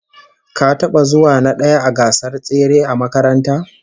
Ka taba zuwa na daya a gasar tsere a makaranta?